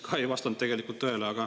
Ka see ei vastanud tegelikult tõele.